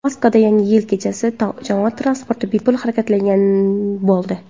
Moskvada Yangi yil kechasi jamoat transporti bepul harakatlanadigan bo‘ldi.